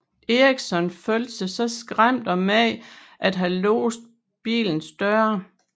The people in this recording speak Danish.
Eriksson følte sig så skræmt af manden at han låste bilens døre